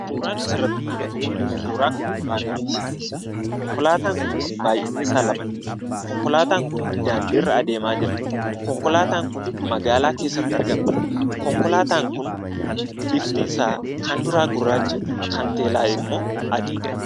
Suuraan asirratti mul'atu Kun suura konkolaataati. Konkolaataan Kunis baay'inni isaa lamadha. Konkolaataan Kun daandiirra adeemaa Jira. Konkolaataan Kun magaalaa keessatti argama. Konkolaataan Kun kan duraa gurraacha kan teellaa immoo adiidha.